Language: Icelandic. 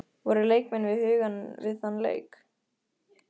Voru leikmenn við hugann við þann leik?